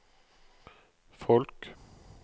folk